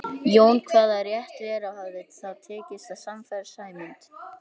Jón kvað það rétt vera og hafði þá tekist að sannfæra Sæmund.